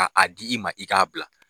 A a d'i ma i k'a bila.